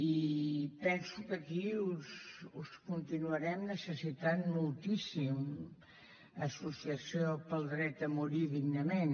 i penso que aquí us continuarem necessitant moltíssim associació dret a morir dignament